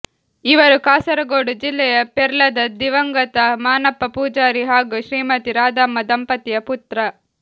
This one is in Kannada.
ಇವರು ಕಾಸರಗೋಡು ಜಿಲ್ಲೆಯ ಪೆರ್ಲದ ದಿವಂಗತ ಮಾನಪ್ಪ ಪೂಜಾರಿ ಹಾಗೂ ಶ್ರೀಮತಿ ರಾಧಮ್ಮ ದಂಪತಿಯ ಪುತ್ರ